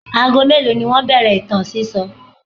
Ago mélòó ni wọ́n bẹ̀rẹ̀ ìtàn sísọ?